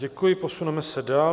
Děkuji, posuneme se dál.